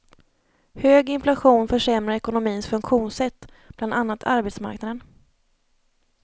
Hög inflation försämrar ekonomins funktionssätt, bland annat arbetsmarknaden.